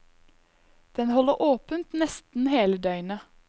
Den holder åpent nesten hele døgnet.